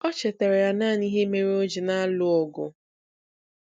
O chetaara ya naanị ihe mere o ji na-alụ ọgụ.